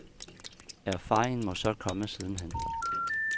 Erfaringen må så komme siden hen.